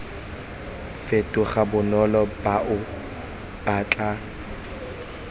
fetoga bonolo bao ba tla